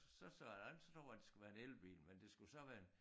Så sådan så slog det mig det skulle så være en elbil men det skulle så være en